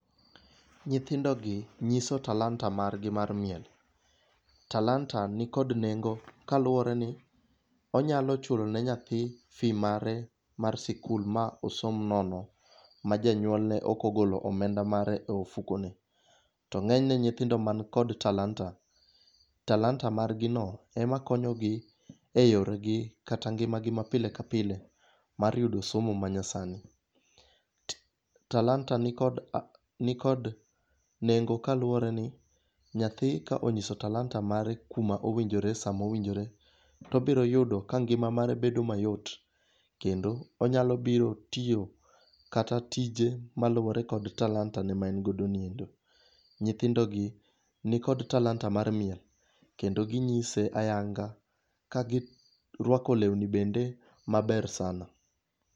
Nyithindogi nyiso talanta margi mar miel, talanta ni kod nengo kaluore ni onyalo chulone nyathi fees mare mar sikul ma osom nono ma janyuolne okogolo omenda mare e ofukone, to ng'enyne nyithino man kod talanta, talanta margino ema konyogi e yorgi kata ngimagi ma pile ka pile mar yudo somo manyasani. talanta ni kod nengo kaluore ni nyathi ka onyiso talanta mare kuma owinjore e sama owinjore to obiro yudo ka ng'ima mare bedo mayot kendo onyalo biro tiyo kata tije maluore kod talantane ma en godono. Nyithindogi nikod talanta mar miel kendo ginyise ayanga kagirwako lewni bende maber sana